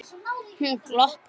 Hún glotti.